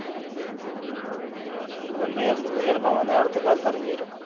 ഇന്ന് എന്ത് ഇന്ന് ചെലപ്പോ നേരത്ത് കാലത്ത് ഇറങ്ങിവരും